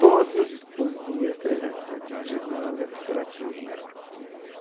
Todos os dias, trezentos e sessenta e cinco dias do ano, eu fiz curativo nela.